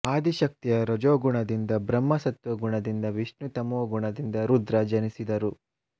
ಆದಿಶಕ್ತಿಯ ರಜೋಗುಣದಿಂದ ಬ್ರಹ್ಮ ಸತ್ವಗುಣ ದಿಂದ ವಿಷ್ಣು ತಮೋಗುಣದಿಂದ ರುದ್ರ ಜನಿಸಿದರು